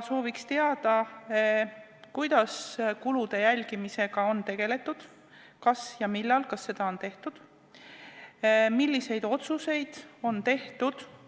Sooviks teada, kuidas kulude jälgimisega on tegeletud, kas seda on tehtud ja millal, milliseid otsuseid on tehtud ja